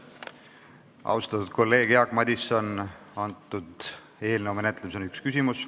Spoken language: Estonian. Austatud kolleeg Jaak Madison, selle eelnõu menetlemisel on lubatud esitada üks küsimus.